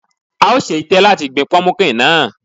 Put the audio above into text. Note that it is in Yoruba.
A ò ṣe itẹ́ láti gbin pọmukíǹ náà.